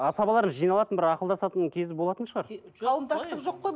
асабалар жиналатын бір ақылдасатын кезі болатын шығар қауымдастық жоқ қой